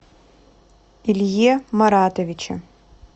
илье маратовиче